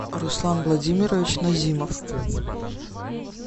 руслан владимирович назимов